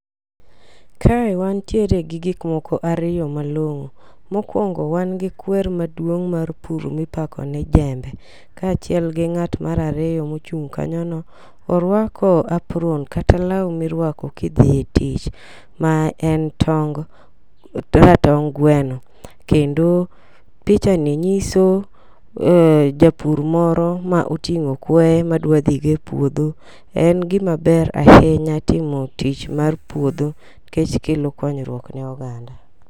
Kae wantiere gi gik moko ariyo malong'o. Mokwongo wan gi kwer maduong' mar pur mipako ni jembe kaachiel gi ng'at mar ariyo mochung' kanyo no. Orwako apron kata law mirwako gidhie tich ma en tong kaka tong gweno. Kendo picha ni nyiso japur moro ma oting'o kweye madwa dhi go e puodho . En gima ber ahinya timo tich mar puodho nikech kelo konyruok ne oganda.